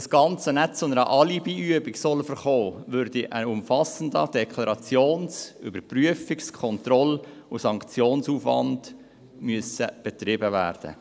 Wenn das Ganze nicht zu einer Alibiübung verkommen soll, müsste ein umfassender Deklarations-, Überprüfungs- und Kontrollaufwand betrieben werden.